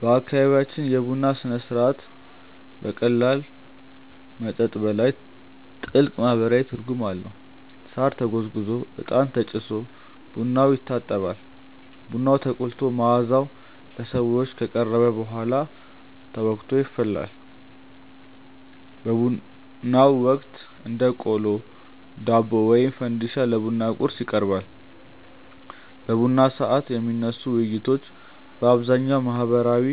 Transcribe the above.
በአካባቢያችን የቡና ሥነ ሥርዓት ከቀላል መጠጥ በላይ ጥልቅ ማህበራዊ ትርጉም አለው። ሳር ተጎዝጉዞ፣ እጣን ተጭሶ ቡናው ይታጠባል። ቡናው ተቆልቶ መዓዛው ለሰዎች ከቀረበ በኋላ ተወቅጦ ይፈላል። በቡናው ወቅት እንደ ቆሎ፣ ዳቦ ወይም ፈንዲሻ ለቡና ቁርስ ይቀርባል። በቡና ሰዓት የሚነሱ ውይይቶች በአብዛኛው ማህበራዊ